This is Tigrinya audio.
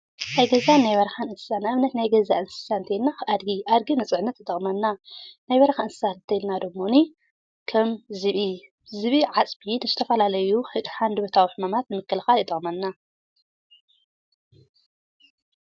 ናይ ገዛን ናይ በረኻን እንስሳ ማለት ናይ ገዛ እንስሳ ማለት ኣድጊ፣ ኣድጊ ንፅዕነት ይጠቅመና ናይ በረኻ እንስሳ እንተሊና ደምኒ ከም ዝብኢ ካብ ሃንደበታዊ ሕማም ንምክልኻል ይጠቅመና።